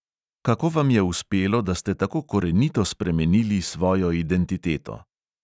Kako vam je uspelo, da ste tako korenito spremenili svojo identiteto?